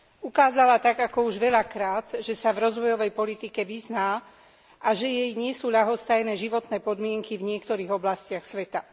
Ukázala tak ako už veľakrát, že sa v rozvojovej politike vyzná a že jej nie sú ľahostajné životné podmienky v niektorých oblastiach sveta.